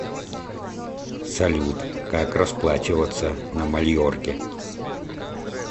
салют как расплачиваться на мальорке